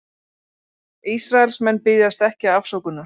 Ísraelsmenn biðjast ekki afsökunar